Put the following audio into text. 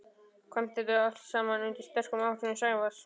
kvæmt þetta allt saman undir sterkum áhrifum Sævars.